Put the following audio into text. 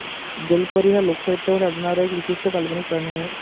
जलपरी हा लोकसाहित्यामध्ये आढळणारा एक विशिष्ट काल्पनिक प्राणी आहे.